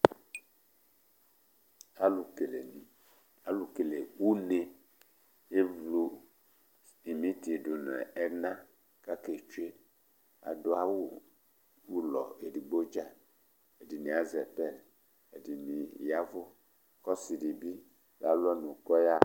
Alu kele ʋne evlʋ simiti dʋ nʋ ena kʋ ake tsʋe Adu awu ʋlɔ ɛdigbo dza Ɛdiní azɛ pɛli, ɛdiní yavʋ kʋ ɔsi di bi la lu ɔnʋ kʋ ɔyaha